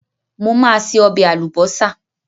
Mo máa se ọbẹ̀ àlùbọ́sà.